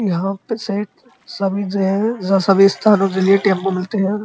यहाँ पे शायद सभी जगह या सभी स्थानों के लिए टेम्पो मिलते हैं।